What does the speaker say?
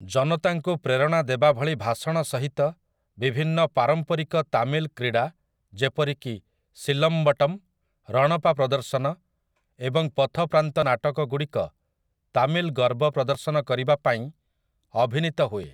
ଜନତାଙ୍କୁ ପ୍ରେରଣା ଦେବାଭଳି ଭାଷଣ ସହିତ, ବିଭିନ୍ନ ପାରମ୍ପରିକ ତାମିଲ କ୍ରୀଡ଼ା ଯେପରିକି ସିଲମ୍ବଟ୍ଟମ୍, ରଣପା ପ୍ରଦର୍ଶନ, ଏବଂ ପଥପ୍ରାନ୍ତ ନାଟକଗୁଡ଼ିକ ତାମିଲ୍ ଗର୍ବ ପ୍ରଦର୍ଶନ କରିବାପାଇଁ ଅଭିନୀତ ହୁଏ ।